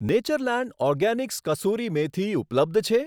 Natureland organics કસૂરી મેથી ઉપલબ્ધ છે?